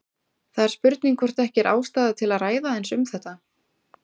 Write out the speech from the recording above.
Það er spurning hvort ekki er ástæða til að ræða aðeins um þetta.